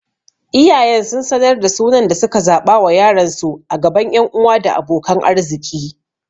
Iyayen sun sanar da sunan da suka zaɓa wa yaronsu a gaban ƴan uwa da abokan arziki.